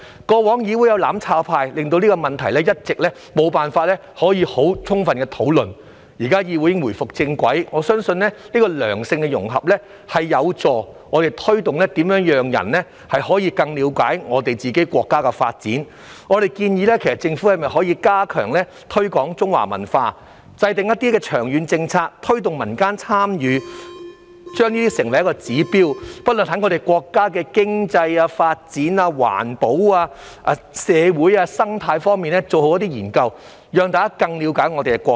過往議會有"攬炒派"，令這個問題一直無法充分討論，現在議會已回復正軌，我相信良性的融合有助推動市民更了解國家的發展，我們建議政府加強推廣中華文化，制訂一些長遠的政策，推動民間參與，並將之成為指標，在國家經濟、發展、環保、社會和生態等方面做好研究，讓大家更了解我們的國家。